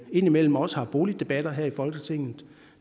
indimellem også har boligdebatter her i folketinget og